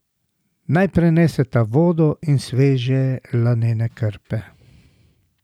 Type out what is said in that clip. Naj prineseta vodo in sveže lanene krpe.